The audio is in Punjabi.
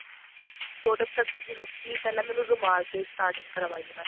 ਛੋਟੇ product ਜਿਵੇਂ ਕੀ ਪਿਹਲਾਂ ਮੈਨੂ ਰੁਮਾਲ ਤੇ starting ਕਰਵਾਈ ਉਹਨਾ ਨੇ